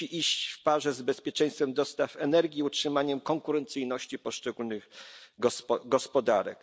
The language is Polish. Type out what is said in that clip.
Musi iść w parze z bezpieczeństwem dostaw energii, utrzymaniem konkurencyjności poszczególnych gospodarek.